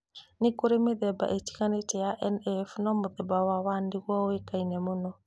Nĩkũrĩ mĩthemba ĩtiganĩte ya NF, no mũthemba wa 1 nĩguo ũĩkaine mũno